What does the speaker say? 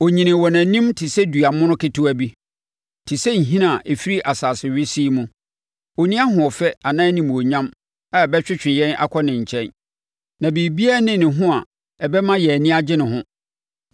Ɔnyinii wɔ nʼanim te sɛ dua mono ketewa bi, te sɛ nhini a ɛfiri asase wesee mu. Ɔnni ahoɔfɛ anaa animuonyam a ɛbɛtwetwe yɛn akɔ ne nkyɛn. Na biribiara nni ne ho ɛbɛma yɛn ani agye ne ho.